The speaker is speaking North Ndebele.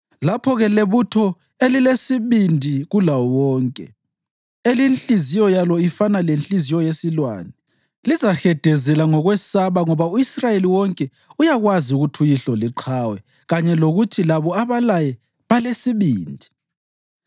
Lapho-ke lebutho elilesibindi kulawo wonke, elinhliziyo yalo ifana lenhliziyo yesilwane, lizahedezela ngokwesaba ngoba u-Israyeli wonke uyakwazi ukuthi uyihlo liqhawe kanye lokuthi labo abalaye balesibindi.